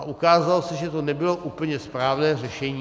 A ukázalo se, že to nebylo úplně správné řešení.